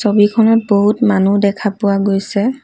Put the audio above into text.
ছবিখনত বহুত মানুহ দেখা পোৱা গৈছে।